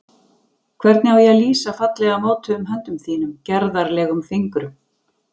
Hvernig á ég að lýsa fallega mótuðum höndum þínum, gerðarlegum fingrum?